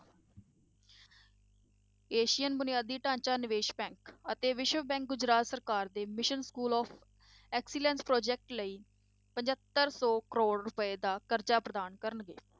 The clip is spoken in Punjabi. Asian ਬੁਨਿਆਦੀ ਢਾਂਚਾ ਨਿਵੇਸ bank ਅਤੇ ਵਿਸ਼ਵ bank ਗੁਜਰਾਤ ਸਰਕਾਰ ਦੇ mission school of excellence project ਲਈ ਪਜੰਤਰ ਸੌ ਕਰੌੜ ਰੁਪਏ ਦਾ ਕਰਜਾ ਪ੍ਰਦਾਨ ਕਰਨਗੇ